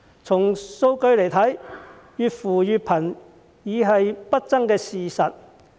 從數據來看，越扶越貧已是不爭的事實。